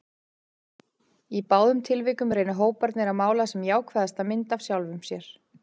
Í báðum tilvikum reyna hóparnir að mála sem jákvæðasta mynd af sjálfum sér.